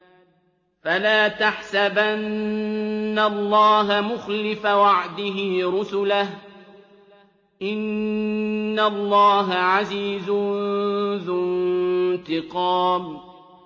فَلَا تَحْسَبَنَّ اللَّهَ مُخْلِفَ وَعْدِهِ رُسُلَهُ ۗ إِنَّ اللَّهَ عَزِيزٌ ذُو انتِقَامٍ